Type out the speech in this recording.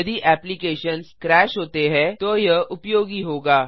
यदि applications crash होता हैतो यह उपयोगी होगा